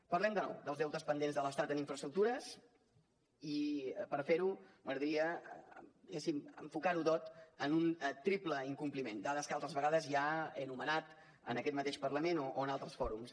parlem de nou dels deutes pendents de l’estat en infraestructures i per fer ho m’agradaria diguéssim enfocar ho tot en un triple incompliment dades que altres vegades ja he enumerat en aquest mateix parlament o en altres fòrums